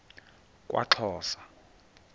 kwaxhosa